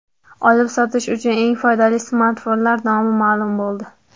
Olib-sotish uchun eng foydali smartfonlar nomi ma’lum bo‘ldi.